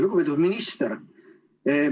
Lugupeetud minister!